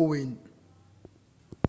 u weyn